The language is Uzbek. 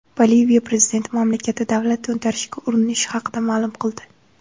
Boliviya prezidenti mamlakatda davlat to‘ntarishiga urinish haqida ma’lum qildi.